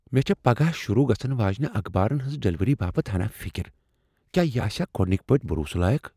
مےٚ چھےٚ پگاہ شروع گژھن واجِنہِ اخبارن ہنٛز ڈلیوری باپت ہنا فکر۔ کیاہ یہ آسیا گۄڈٕ نِكہِ پٲٹھۍ بروسس لایق ۔